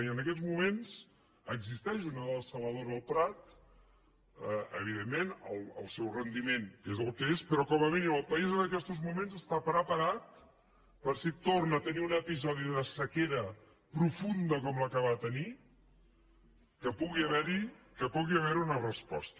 i en aquests moments existeix una dessaladora al prat evidentment el seu rendiment és el que és però com a mínim el país en aquestos moments està preparat perquè si torna a tenir un episodi de sequera profunda com la que va tenir pugui haver hi una resposta